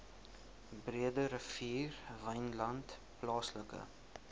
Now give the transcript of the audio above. breederivier wynland plaaslike